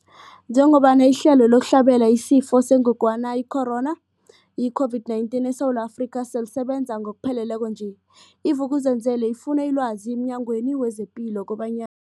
Njengoba ihlelo lokuhlabela isiFo sengogwana i-Corona, i-COVID-19, eSewula Afrika selisebenza ngokupheleleko nje, i-Vuk'uzenzele ifune ilwazi emNyangweni wezePilo kobanya